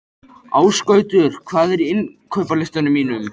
Ásgautur, hvað er á innkaupalistanum mínum?